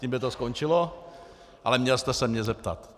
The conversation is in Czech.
Tím by to skončilo, ale měl jste se mě zeptat.